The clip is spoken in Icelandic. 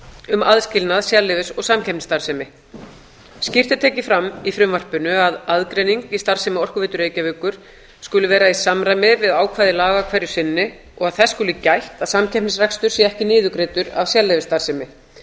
um aðskilnað sérleyfis og samkeppnisstarfsemi skýrt er tekið fram í frumvarpinu að aðgreining í starfsemi orkuveitu reykjavíkur skuli vera í samræmi við ákvæði laga hverju sinni og að þess skuli gætt að samkeppnisrekstur sé ekki niðurgreiddur af sérleyfisstarfsemi